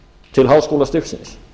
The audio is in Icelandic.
til háskólastigsins